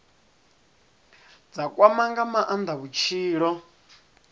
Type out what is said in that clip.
dza kwama nga maanda vhutshilo